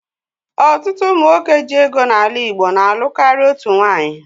Ọtụtụ ụmụ nwoke ji ego n'ala Igbo na-alụ karịa otú nwaanyị